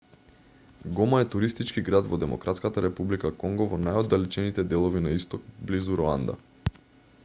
гома е туристички град во демократската република конго во најоддалечените делови на исток близу руанда